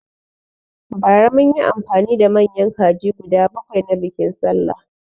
Bara munyi amfani da manyan kaji guda bakwai na biƙin sallah